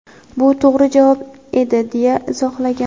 Bu to‘g‘ri javob edi, deya izohlagan.